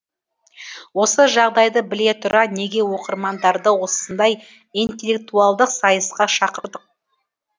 осы жағдайды біле тұра неге оқырмандарды осындай интеллектуалдық сайысқа шақырдық